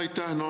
Aitäh!